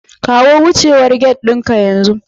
Kawo wucewar gate ɗinka yanzu